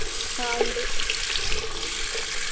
ആഹ് ഇണ്ട്